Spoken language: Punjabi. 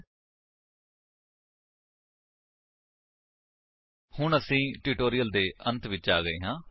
http ਸਪੋਕਨ ਟਿਊਟੋਰੀਅਲ ਓਰਗ ਨਮੈਕਟ ਇੰਟਰੋ ਹੁਣ ਅਸੀ ਇਸ ਟਿਊਟੋਰਿਅਲ ਦੇ ਅੰਤ ਵਿੱਚ ਆ ਗਏ ਹਾਂ